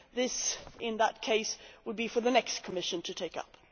This, in that case, would be for the next Commission to take up.